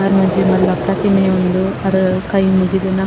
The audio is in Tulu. ಅರ್ನ ಒಂಜಿ ಮಲ್ಲ ಪ್ರತಿಮೆ ಉಂಡು ಅರ್ ಕೈ ಮುಗಿದ್ ನ.